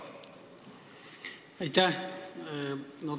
Aitäh!